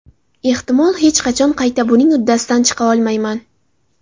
Ehtimol, hech qachon qayta buning uddasidan chiqa olmayman.